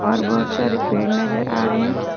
और बहुत सारे पेड़ नजर आ रहे हैं।